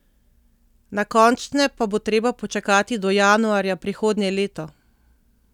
Na končne pa bo treba počakati do januarja prihodnje leto.